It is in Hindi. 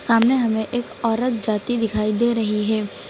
सामने हमें एक औरत जाती दिखाई दे रही है।